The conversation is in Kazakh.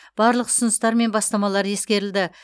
барлық ұсыныстар мен бастамалар ескерілді